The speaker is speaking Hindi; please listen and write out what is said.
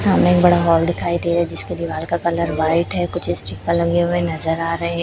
सामने एक बड़ा हॉल दिखाई दे रहा हैं जिसके दीवाल का कलर व्हाइट हैं कुछ स्टीकर लगे हुए नजर आ रहे--